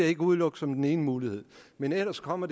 ikke udelukke som den ene mulighed men ellers kommer